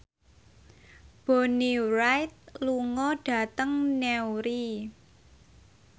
Bonnie Wright lunga dhateng Newry